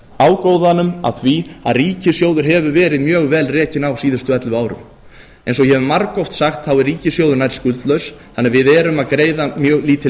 ágóðanum af því að ríkissjóður hefur verið mjög vel rekinn á síðustu ellefu árum eins og ég hef margoft sagt er ríkissjóður nær skuldlaus þannig að við erum að greiða mjög lítil